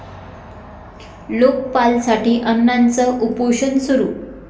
लोकपालसाठी अण्णांचं उपोषण सुरू